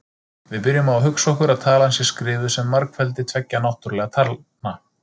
Við byrjum á að hugsa okkur að talan sé skrifuð sem margfeldi tveggja náttúrlegra talna: